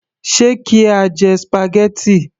Ṣe kí á jẹ spaghetti